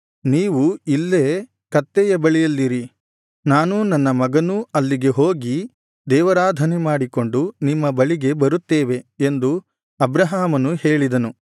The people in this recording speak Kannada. ನೀವು ಇಲ್ಲೇ ಕತ್ತೆಯ ಬಳಿಯಲ್ಲಿರಿ ನಾನೂ ನನ್ನ ಮಗನೂ ಅಲ್ಲಿಗೆ ಹೋಗಿ ದೇವಾರಾಧನೆ ಮಾಡಿಕೊಂಡು ನಿಮ್ಮ ಬಳಿಗೆ ಬರುತ್ತೇವೆ ಎಂದು ಅಬ್ರಹಾಮನು ಹೇಳಿದನು